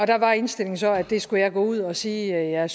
der var indstillingen så at det skulle jeg gå ud og sige jeg jeg